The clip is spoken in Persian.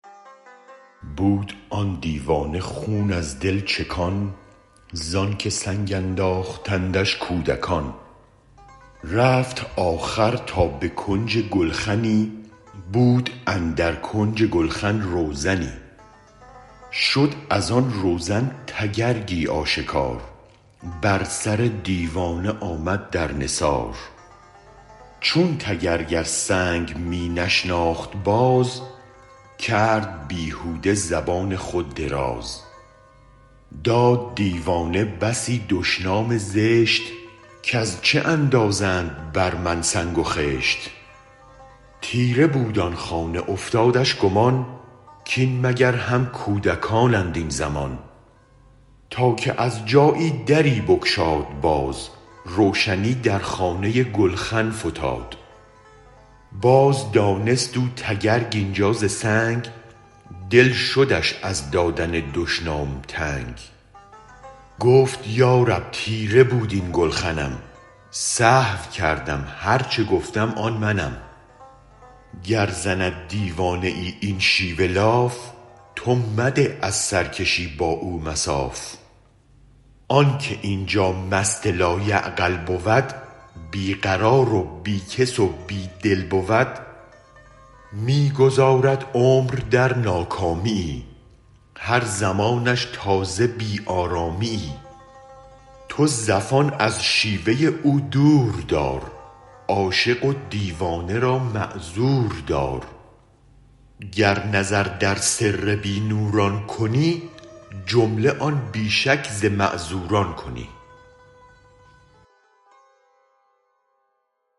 بود آن دیوانه خون از دل چکان زانک سنگ انداختندش کودکان رفت آخر تا به کنج گلخنی بود اندر کنج گلخن روزنی شد از آن روزن تگرگی آشکار بر سردیوانه آمد در نثار چون تگرگ از سنگ می نشناخت باز کرد بیهوده زبان خود دراز داد دیوانه بسی دشنام زشت کز چه اندازند بر من سنگ و خشت تیره بود آن خانه افتادش گمان کین مگر هم کودکانند این زمان تا که از جایی دری بگشاد باد روشنی در خانه گلخن فتاد باز دانست او تگرگ اینجا ز سنگ دل شدش از دادن دشنام تنگ گفت یا رب تیره بود این گلخنم سهو کردم هرچ گفتم آن منم گر زند دیوانه این شیوه لاف تو مده از سرکشی با او مصاف آنک اینجا مست لا یعقل بود بی قرار و بی کس و بی دل بود می گذارد عمر در ناکامیی هر زمانش تازه بی آرامیی تو زفان از شیوه او دور دار عاشق و دیوانه را معذوردار گر نظر در سر بی نوران کنی جمله آن بی شک ز معذوران کنی